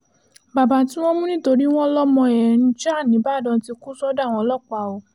baba tí wọ́n mú nítorí wọn lọmọ ẹ̀ ń ja nígbàdàn ti kú sọ́dọ̀ àwọn ọlọ́pàá o